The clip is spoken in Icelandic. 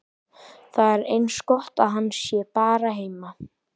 Það er eins gott að hann sé bara heima.